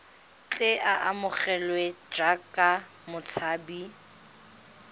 tle a amogelwe jaaka motshabi